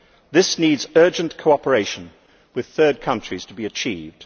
This needs urgent cooperation with third countries to be achieved.